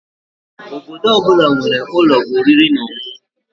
Obodo ọ bụla nwere ụlọ oriri na ọṅụṅụ